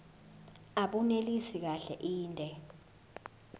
abunelisi kahle inde